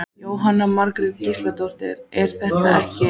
Jóhanna Margrét Gísladóttir: Er það ekki?